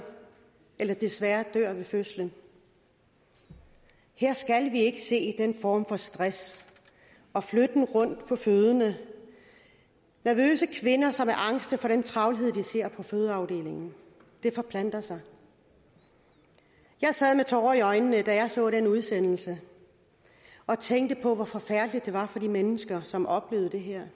eller desværre dør ved fødslen her skal vi ikke se den form for stress og flytten rundt på fødende nervøse kvinder som er angste for den travlhed de ser på fødeafdelingen det forplanter sig jeg sad med tårer i øjnene da jeg så den udsendelse og tænkte på hvor forfærdeligt det var for de mennesker som oplevede det her